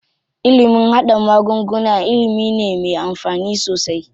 Ilimin haɗa magunguna ilimi ne me amfani sosai.